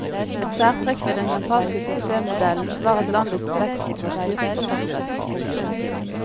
Et særtrekk ved den japanske suksessmodellen var at landets vekst var styrt fra toppen. punktum